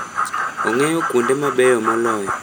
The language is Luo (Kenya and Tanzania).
Ong'eyo kuonde mabeyo moloyo.